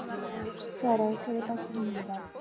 Klara, hver er dagsetningin í dag?